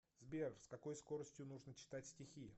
сбер с какой скоростью нужно читать стихи